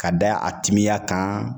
K'a da a timiya kan